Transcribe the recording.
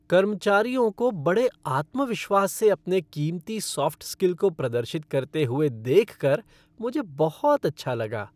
कर्मचारियों को बड़े आत्मविश्वास से अपने कीमती सॉफ्ट स्किल को प्रदर्शित करते हुए देख कर मुझे बहुत अच्छा लगा।